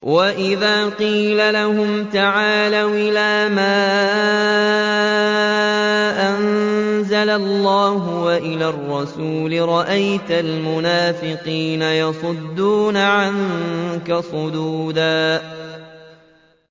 وَإِذَا قِيلَ لَهُمْ تَعَالَوْا إِلَىٰ مَا أَنزَلَ اللَّهُ وَإِلَى الرَّسُولِ رَأَيْتَ الْمُنَافِقِينَ يَصُدُّونَ عَنكَ صُدُودًا